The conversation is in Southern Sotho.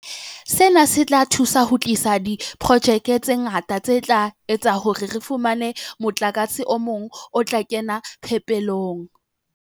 Sena se tla thusa ho tlisa diprojeke tse ngata tse tla etsa hore re fumane motlakase o mong o tla kena phepelong.